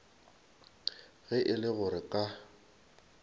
ge e le gore ka